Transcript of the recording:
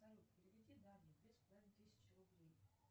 салют переведи дане две с половиной тысячи рублей